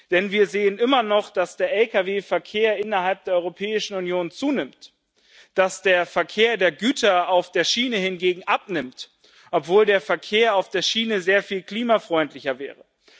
Denn wir sehen immer noch, dass der Lkw Verkehr innerhalb der Europäischen Union zunimmt, dass der Verkehr der Güter auf der Schiene hingegen abnimmt, obwohl der Verkehr auf der Schiene sehr viel klimafreundlicher wäre.